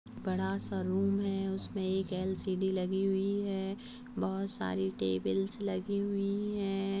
बड़ा सा रूम है उसमे एक एल. सी.डी. लगी हुई है बहोत सारी टेबल्स लगी हुई है।